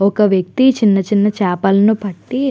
ఒక వ్యక్తి చిన్న చిన్న చేపలను పట్టి --